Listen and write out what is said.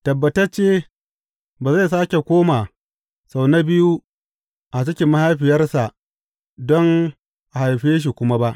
Tabbatacce ba zai sāke koma sau na biyu a cikin mahaifiyarsa don a haife shi kuma ba!